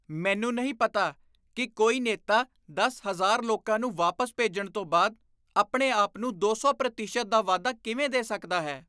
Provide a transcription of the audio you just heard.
ਮੈਨੂੰ ਨਹੀਂ ਪਤਾ ਕੀ ਕੋਈ ਨੇਤਾ ਦਸ ਹਜ਼ਾਰ ਲੋਕਾਂ ਨੂੰ ਵਾਪਸ ਭੇਜਣ ਤੋਂ ਬਾਅਦ ਆਪਣੇ ਆਪ ਨੂੰ ਦੋ ਸੌ ਪ੍ਰਤੀਸ਼ਤ ਦਾ ਵਾਧਾ ਕਿਵੇਂ ਦੇ ਸਕਦਾ ਹੈ